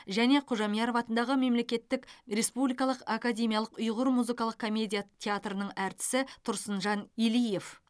және кужамьяров атындағы мемлекеттік республикалық академиялық ұйғыр музыкалық комедия театрының әртісі тұрсынжан илиев